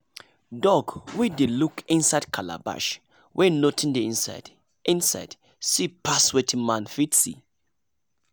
dog wey dey look inside calabash wey nothing dey inside inside see pass wetin man fit see